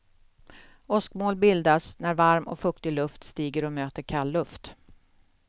Åskmoln bildas när varm och fuktig luft stiger och möter kall luft.